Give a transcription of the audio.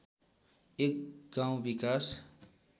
एक गाउँ विकास